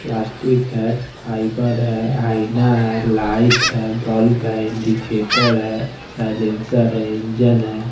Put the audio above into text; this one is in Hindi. प्लास्टिक है फाइबर है आईना है लाइट है बल्ब है इंडिकेटर है साइलेंसर है इंजिन है।